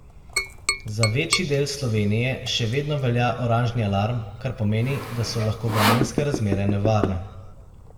Za večji del Slovenije še vedno velja oranžni alarm, kar pomeni, da so lahko vremenske razmere nevarne.